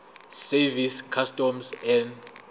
service customs and